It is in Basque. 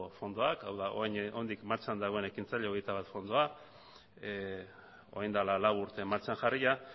fondoak hau da oraindik martxan dagoen ekintzaile hogeita bat fondoa orain dela lau urte martxan jarria